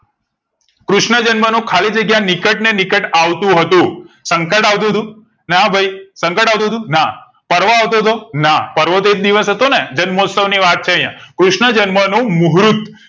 કૃષ્ણ જન્મ નો ખાલી જગ્યા નિકટ ને નિકટ આવતું હતું. સંકટ અવતું તું ના ભઈ સંકટ અવતું ના પર્વ આવતો ના પર્વ તો એક દિવસ હતો ને જન્મોસ્તવ ની વાત છે અહીંયા કૃષ્ણ જન્મ નું મુહૂર્ત